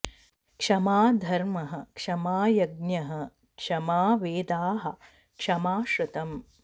क्षमा धर्मः क्षमा यज्ञः क्षमा वेदाः क्षमा श्रुतम्